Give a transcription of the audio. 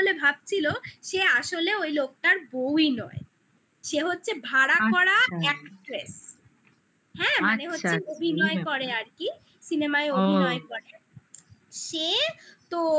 ভাবছিল সে আসলে ওই লোকটার বউই নয় সে হচ্ছে ভাড়া করা আচ্ছা actress হ্যাঁ মানে overlap আচ্ছা আচ্ছা হচ্ছে অভিনয় করে আরকি cinema -য় overlap ও অভিনয় করে সে তো